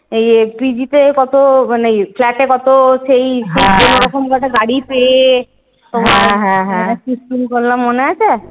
এই ইয়ে PG তে কত মানে flat এ কত সেই কোনরকম ভাবে গাড়ী পেয়ে মানে shifting করলাম মনে আছে?